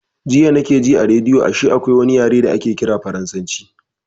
Jiya na ke ji a rediyo ashe akwai wani yare da ake ƙira farasanci